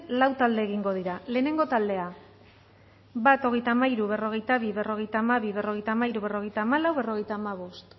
lau talde egingo dira lehenengo taldea bat hogeita hamairu berrogeita bi berrogeita hamabi berrogeita hamairu berrogeita hamalau berrogeita hamabost